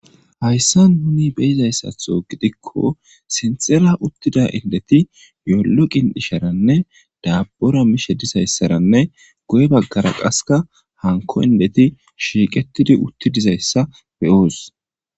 Hayssa nuni beyizayssatho gidikko sinxera uuttida indeti yoollo qin'isharanne daabbora mishe dizayssaranne guye baggara qasekka hanko indeti shiiqetidi uutti dizayssa beyoos